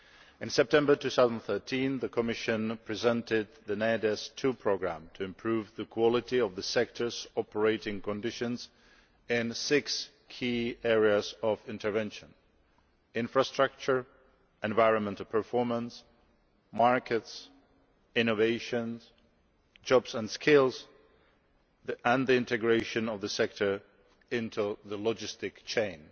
In September 2013, the Commission presented the NAIADES II programme to improve the quality of the sector's operating conditions and six key areas of intervention infrastructure, environmental performance, markets, innovation, jobs and skills and the integration of the sector into the logistical chain.